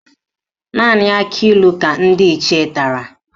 Naanị akịlụ ka ndị Ichie tara